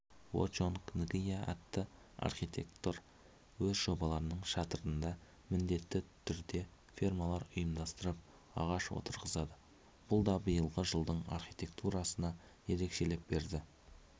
во-чонг нгиа атты архитектор өз жобаларының шатырында міндетті түрде фермалар ұйымдастырып ағаш отырғызады бұл да биылғы жылдың архитектурасына ерекше леп берді